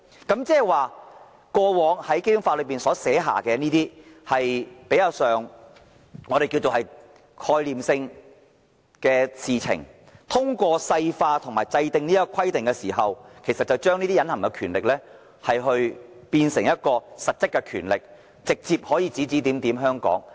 換言之，關於過往在《基本法》所訂的比較概念性的事情，通過細化和制訂有關規定後，將可把隱含權力變成實質權力，直接對香港指指點點。